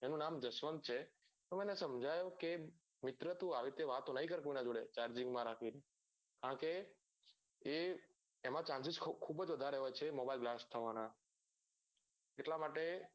એનું નામ જસવંત છે તો તો મેં એને સમજાવ્યો કે મિત્ર તું આવી રીતે વાતો ના કર કોઈ નાં જોડે charging રાખી ને કારણ કે એ એમાં chances ખુબ જ વધારે હોય છે mobile blast થવા નાં